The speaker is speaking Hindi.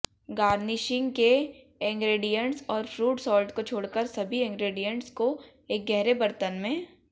गार्निशिंग के इंग्रेडिएंट्स और फ्रूट सॉल्ट को छोड़कर सभी इंग्रेडिएंट्स को एक गहरे बर्तन में